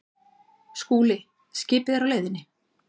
SKÚLI: Skipið er á leiðinni.